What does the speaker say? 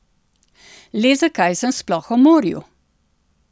Le zakaj sem sploh o morju?